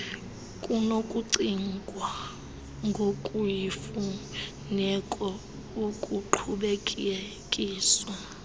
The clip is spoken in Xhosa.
kunokucingwa ngokuyimfuneko ukuqhubekekisa